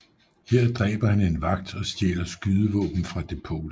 Her dræber han en vagt og stjæler skydevåben fra depotet